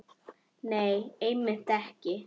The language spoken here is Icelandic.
Nei, einmitt ekki.